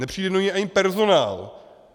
Nepřijde do něj ani personál.